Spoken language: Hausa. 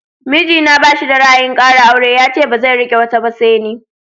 Mijina ba shi da ra'ayin ƙara aure, yace bazai iya riƙe wata ba sai ni.